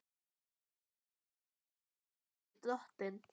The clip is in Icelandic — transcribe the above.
Hún er ekki af baki dottin.